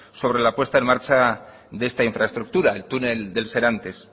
sobre la puesta en marcha de esta infraestructura el túnel del serantes